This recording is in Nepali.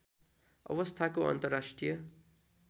अवस्थाको अन्तर्राष्ट्रिय